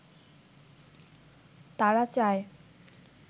তারা চায়